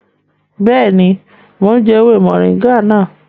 Bẹẹni, mo ǹ jẹ ewé moringa nàá